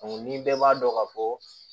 ni bɛɛ b'a dɔn ka fɔ